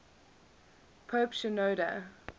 pope shenouda